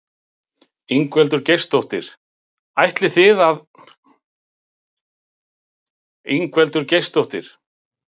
Ingveldur Geirsdóttir: Ætlið þið eitthvað að breyta verklagi ykkar?